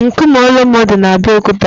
Nkume Olumo di na Abeokuta.